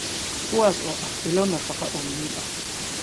kuwaas oo ah ilo nafaqo oo muhiim ah.